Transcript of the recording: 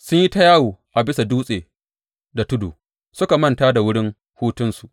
Sun yi ta yawo a bisa dutse da tudu suka manta wurin hutunsu.